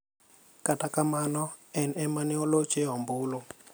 Kata kamano, en ema ne olocho e ombulu.